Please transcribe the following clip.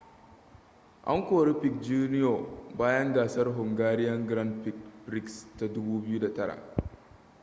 an kori piquet jr bayan gasar hungarian grand prix ta 2009